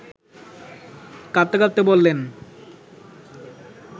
কাঁপতে কাঁপতে বললেন